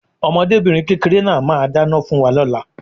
Ọmọdébìnrin kékeré náà máà ń dáná fún wa lóla